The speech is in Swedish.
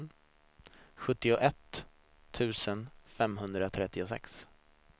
sjuttioett tusen femhundratrettiosex